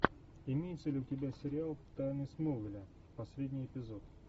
имеется ли у тебя сериал тайны смолвиля последний эпизод